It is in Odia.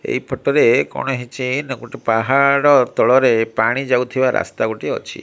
ଏଇପଟରେ କଣ ହେଉଛି ନା ଗୋଟେ ପାହାଡ ତଳରେ ପାଣି ଯାଉଥିବାର ଗୋଟେ ରାସ୍ତା ଅଛି।